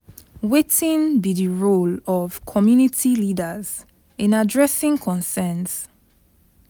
Wetin be di role of community leaders in adressing concerns?